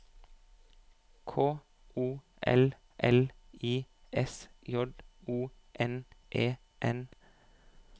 K O L L I S J O N E N